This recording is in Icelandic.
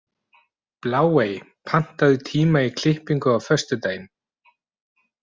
Bláey, pantaðu tíma í klippingu á föstudaginn.